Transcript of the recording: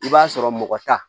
I b'a sɔrɔ mɔgɔ ta